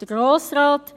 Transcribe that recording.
Der Grosse Rat?